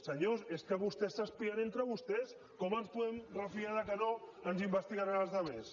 senyors és que vostès s’espien entre vostès com ens podem refiar que no ens investigaran als altres